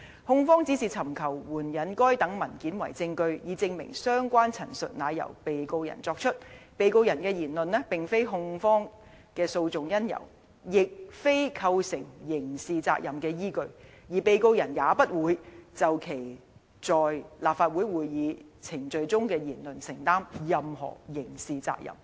控方只是尋求援引該等文件為證據，以證明相關陳述乃由被告人作出......被告人的言論並非控方的訴訟因由，亦非構成刑事責任的依據，而被告人也不會就其在立法會會議程序中的言論承擔任何刑事責任。